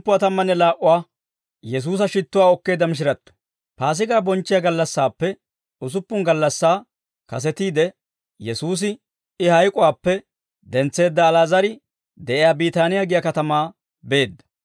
Paasigaa bonchchiyaa gallassaappe usuppun gallassaa kasetiide, Yesuusi I hayk'uwaappe dentseedda Ali'aazar de'iyaa Biitaaniyaa giyaa katamaa beedda.